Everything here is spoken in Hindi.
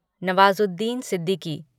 नवाज़ुद्दीन सिद्दीकी